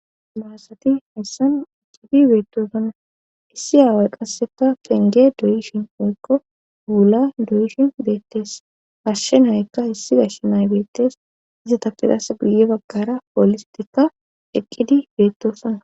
mahasati hayssan utidi beetosanna issi aaway qasseka penge doyishin woykko wuula doyishin beettes gashshe naykka issi gashsh nay beettes isatappe qasse guye baggara poolistikka eqqidi beettosana.